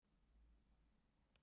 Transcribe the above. Skattheimtu eða lög.